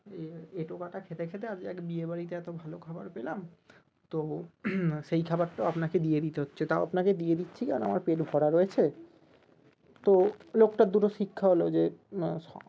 এ এঁঠোকাটা খেতে খেতে আজকে একটা বিয়ে বাড়িতে এত ভালো খাওয়ার পেলাম তো সেই খাওয়ারটাও আপনাকে দিয়ে দিতে হচ্ছে এটাও আপনাকে দিয়ে দিচ্ছি আর আমার পেট ভরা রয়েছে তো লোকটার দুটো শিক্ষা হলো যে না